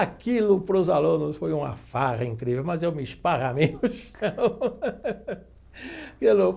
Aquilo para os alunos foi uma farra incrível, mas eu me esparramei no chão e eu não.